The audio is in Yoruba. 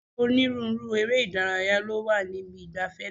Onírúurú eré ìdárayá ló wà níbi ìgbafẹ́ náà.